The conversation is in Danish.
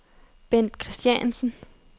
Bendt Kristiansen